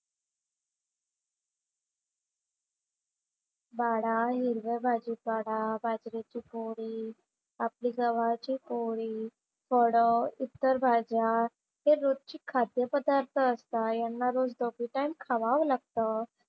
बाळा हिरव्या भाजी पाला, बाजरीची पोळी, आपली गव्हाची पोळी, फळं, इतर भाज्या हे रोजची खाद्यपदार्थ असतात. यांना रोज दोन्ही टाइम खावावं लागतं.